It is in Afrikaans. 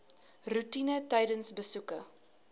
roetine tydens besoeke